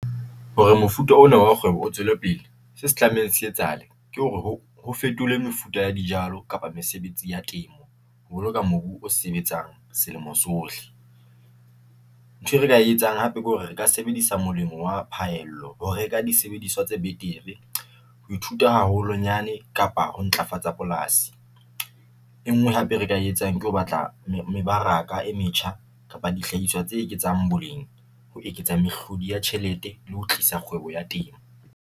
Hore mofuta ona wa kgwebo o tswele pele, se se tlamehang se etsahale ke hore, ho fetolwe mefuta ya dijalo kapa mesebetsi ya temo ho boloka mobu o sebetsang selemo sohle. Ntho e re ka etsang hape ke hore re ka sebedisa molemo wa pahello ho reka disebediswa tse betere ho ithuta haholonyane kapa ho ntlafatsa polasi, e ngwe hape e re ka etsang ke ho batla mebaraka e metjha kapa dihlahiswa tse eketsang boleng, ho eketsa mehlodi ya tjhelete le ho tlisa kgwebo ya temo.